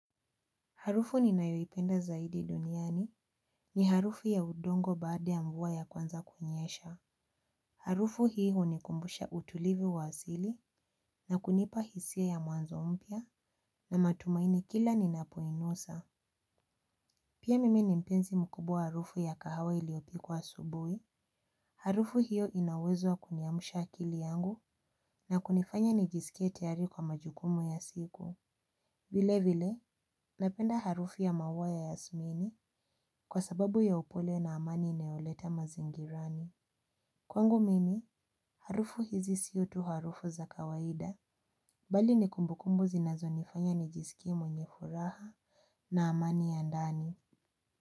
Harufu ninayoipenda zaidi duniani ni harufu ya udongo baada ya mvua ya kwanza kunyesha. Harufu hii hunikumbusha utulivu wa asili na kunipa hisia ya mwanzo mpya na matumaini kila ninapo inusa. Pia mimi ni mpenzi mkubwa wa harufu ya kahawa iliyopikwa asubuhi. Harufu hiyo ina uwezo kuniamsha akili yangu na kunifanya nijisikie tayari kwa majukumu ya siku. Vile vile, napenda harufu ya maua ya yasmini kwa sababu ya upole na amani inayo leta mazingirani. Kwangu mimi, harufu hizi sio tu harufu za kawaida, bali ni kumbukumbu zinazo nifanya nijisikie mwenye furaha na amani ya ndani.